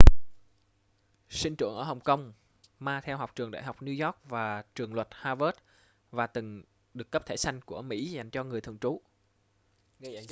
sinh trưởng ở hồng kông ma theo học trường đại học new york và trường luật harvard và từng được cấp thẻ xanh của mỹ dành cho người thường trú